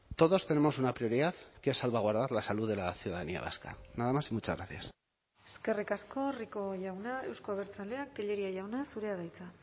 todos tenemos una prioridad que es salvaguardar la salud de la ciudadanía vasca nada más y muchas gracias eskerrik asko rico jauna euzko abertzaleak tellería jauna zurea da hitza